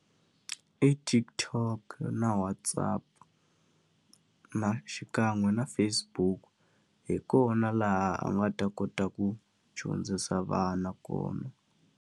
I TikTok na WhatsApp, na xikan'we na Facebook. Hi kona laha a nga ta kota ku dyondzisa vana kona.